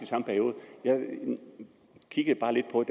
samme periode jeg kiggede bare lidt og